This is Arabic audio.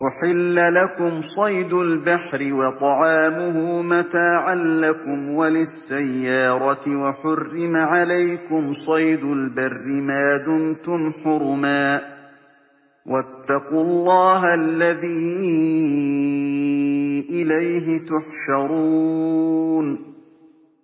أُحِلَّ لَكُمْ صَيْدُ الْبَحْرِ وَطَعَامُهُ مَتَاعًا لَّكُمْ وَلِلسَّيَّارَةِ ۖ وَحُرِّمَ عَلَيْكُمْ صَيْدُ الْبَرِّ مَا دُمْتُمْ حُرُمًا ۗ وَاتَّقُوا اللَّهَ الَّذِي إِلَيْهِ تُحْشَرُونَ